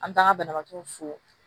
An taaga banabaatɔw fo